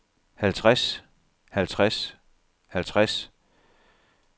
halvtreds halvtreds halvtreds